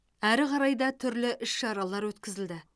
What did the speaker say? әрі қарай да түрлі іс шаралар өткізілді